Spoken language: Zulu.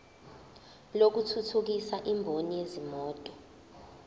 lokuthuthukisa imboni yezimoto